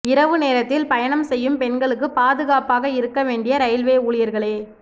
இரவு நேரத்தில் பயணம் செய்யும் பெண்களுக்கு பாதுகாப்பாக இருக்க வேண்டிய ரெயில்வே ஊழியர்களே